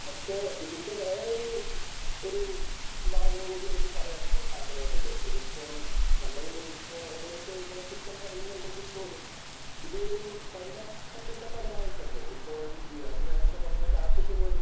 പക്ഷെ ഇതിന്റെ വേറൊരു ഒരു ഭാഗം കൂടി എനിക്ക് പറയാൻ ആഗ്രഹമുണ്ട്. ഇത് ഇപ്പോൾ നമ്മൾ ഇങ്ങനെ ഒക്കെ ഇതിനെ കുറ്റം പറയുന്നുണ്ടെങ്കിൽ പോലും ഇതൊരു പരിണാമത്തിന്റെ ഫലമായിട്ടല്ലേ ഇപ്പോൾ ജിയാദ് നേരത്തെ പറഞ്ഞ കാസെറ്റ് പോലും